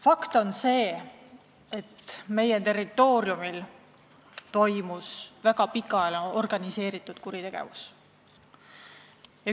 Fakt on see, et meie territooriumil oli võimalik väga pikaajaline organiseeritud kuritegevus.